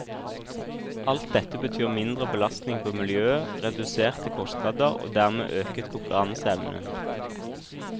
Alt dette betyr mindre belastning på miljøet, reduserte kostnader og dermed øket konkurranseevne.